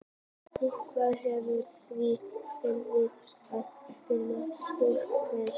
Yfirborðið hefur því verið bráðið í árdaga sólkerfisins.